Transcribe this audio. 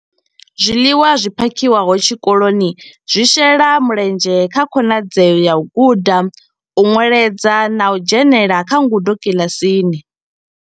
Zwiḽiwa zwi phakhiwaho tshikoloni zwi shela mulenzhe kha khonadzeo ya u guda, u nweledza na u dzhenela kha ngudo kiḽasini.